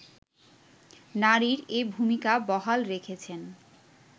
নারীর এ ভূমিকা বহাল রেখেছেন